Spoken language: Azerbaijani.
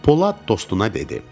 Polad dostuna dedi: